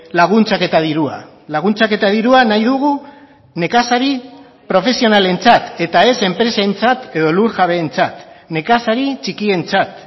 laguntzak eta dirua laguntzak eta dirua nahi dugu nekazari profesionalentzat eta ez enpresentzat edo lurjabeentzat nekazari txikientzat